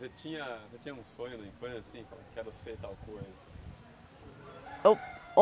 Você tinha você tinha um sonho na infância, assim, quero ser tal coisa? Não.